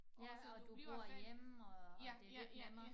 Ja og du bor hjemme og og det lidt nemmere